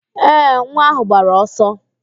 Ee, nwa áhụ̀ gbara ọsọ